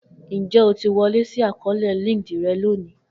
Njẹ o ti wọle si akọọlẹ Linkdln rẹ loni?